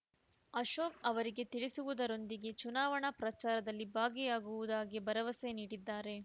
ಅಶೋಕ್ ಅವರಿಗೆ ತಿಳಿಸುವುದರೊಂದಿಗೆ ಚುನಾವಣೆ ಪ್ರಚಾರದಲ್ಲಿ ಭಾಗಿಯಾಗುವುದಾಗಿ ಭರವಸೆ ನೀಡಿದ್ದಾರೆ